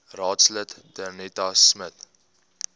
raadslid danetta smit